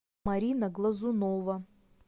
марина глазунова